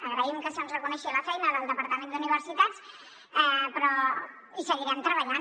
agraïm que se’ns reconegui la feina del departament d’universitats però hi seguirem treballant